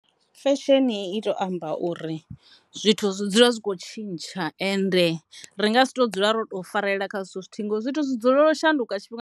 Fesheni i to amba uri zwithu zwi dzula zwi tshi kho tshintsha ende ri nga si tu dzula ro to farelela kha zwithu zwithihi ngauri zwithu zwi dzukela u shanduka .